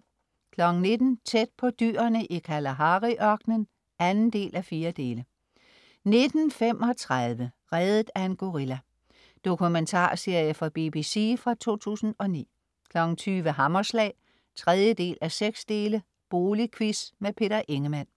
19.00 Tæt på dyrene i Kalahari-ørkenen 2:4 19.35 Reddet af en gorilla. Dokumentarserie fra BBC fra 2009 20.00 Hammerslag 3:6. Boligquiz. Peter Ingemann